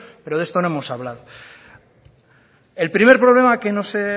pero de esto no hemos hablado el primer problema que nos